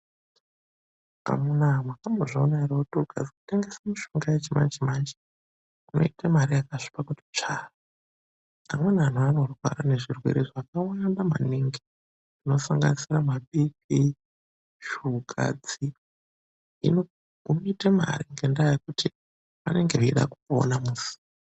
Amuna wee wakambozvionawo ere kuti ukatengesa mitombo yechimanje manje unoita mari yakasvipa kuti tsvaa amweni antu anorwara nezvirwere zvakawanda maningi zvinosanganisire mabhii pii shugadzi hino unoite mari ngendaa yekuti vanonga veida kupona.